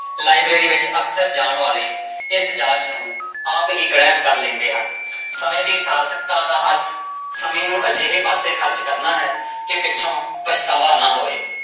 library ਵਿੱਚ ਅਕਸਰ ਜਾਣ ਵਾਲੇ ਇਸ ਜਾਂਚ ਨੂੰ ਆਪ ਹੀ ਗ੍ਰਹਿਣ ਕਰ ਲੈਂਦੇ ਹਨ ਸਮੇਂ ਦੀ ਸਾਰਥਕਤਾ ਦਾ ਅਰਥ ਸਮੇਂ ਨੂੰ ਅਜਿਹੇ ਪਾਸੇ ਖ਼ਰਚ ਕਰਨਾ ਹੈ ਕਿ ਪਿੱਛੋਂ ਪਛਤਾਵਾ ਨਾ ਹੋਵੇ